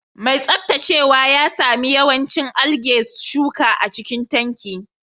Mai tsaftacewa ya sami yawancin algae shuka a cikin tanki